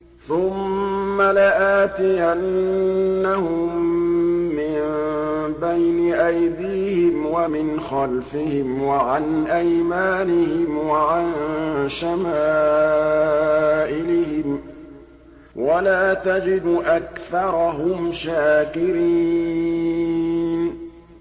ثُمَّ لَآتِيَنَّهُم مِّن بَيْنِ أَيْدِيهِمْ وَمِنْ خَلْفِهِمْ وَعَنْ أَيْمَانِهِمْ وَعَن شَمَائِلِهِمْ ۖ وَلَا تَجِدُ أَكْثَرَهُمْ شَاكِرِينَ